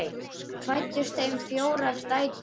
Fæddust þeim fjórar dætur.